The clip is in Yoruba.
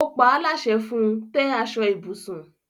O paa láṣẹ fun; tẹ́ aṣọ ibùsùn!